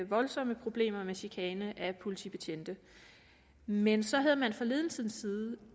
voldsomme problemer med chikane af politibetjente men så havde man fra ledelsens side